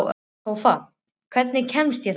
Tófa, hvernig kemst ég þangað?